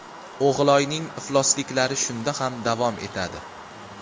O‘g‘iloyning iflosliklari shunda ham davom etadi.